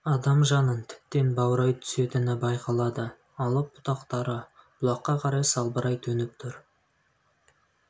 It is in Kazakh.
адам жанын тіптен баурай түсетіні байқалады алып бұтақтары бұлаққа қарай салбырай төніп тұр